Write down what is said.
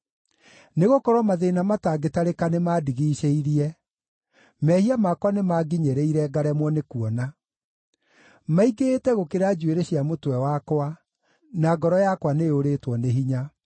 Nĩgũkorwo mathĩĩna matangĩtarĩka nĩmandigiicĩirie; mehia makwa nĩmanginyĩrĩire, ngaremwo nĩkuona. Maingĩhĩte gũkĩra njuĩrĩ cia mũtwe wakwa, na ngoro yakwa nĩyũrĩtwo nĩ hinya.